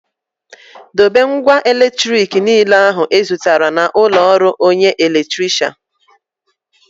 Dobe ngwa eletrik niile ahụ ị zụtara na ụlọ ọrụ onye elektirishan